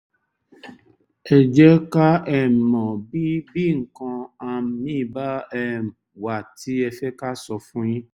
ẹ jẹ́ ká um mọ bí bí nǹkan um míì bá um wà tí ẹ fẹ́ ká sọ fún yín